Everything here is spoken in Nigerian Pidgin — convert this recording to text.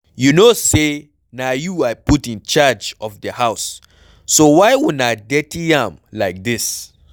You no say na you I put in charge of the house so why una dirty am like dis?